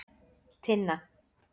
Tinna